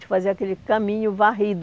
De fazer aquele caminho varrido.